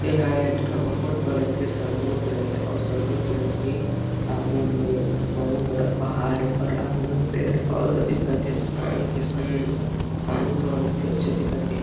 ऐ हाय एक ठा बहुत बड़े के समुन्द्र हे ओ समुद्र के आगू में एक ठो बहुत बड़ा पहाड़ हे ओकर आगू में पेड़ पौधा दिखत हे शाम के समय पानी बहुत ही अच्छा दिखत हे ।